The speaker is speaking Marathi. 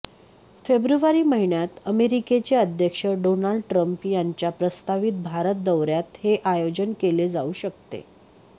फेब्रुवारी महिन्यात अमेरिकेचे अध्यक्ष डोनाल्ड ट्रम्प यांच्या प्रस्तावित भारत दौऱयात हे आयोजन केले जाऊ शकते